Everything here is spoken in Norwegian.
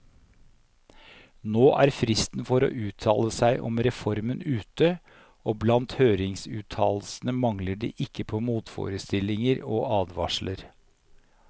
Nå er fristen for å uttale seg om reformen ute, og blant høringsuttalelsene mangler det ikke på motforestillinger og advarsler.